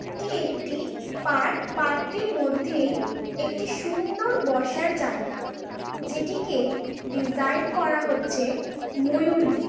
এটি একটি park park টির মধ্যেই একটি সুন্দর বসার জায়গা যেটিকে ডিজাইন করা হচ্ছে ময়ূর দিয়ে।